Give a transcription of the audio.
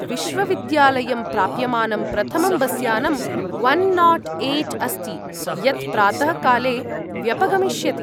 विश्वविद्यालयं प्राप्यमानं प्रथमं बस्यानं वन् नाट् ऐट् अस्ति, यत् प्रातःकाले व्यपगमिष्यति।